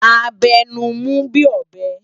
A bè nú mú bi óbè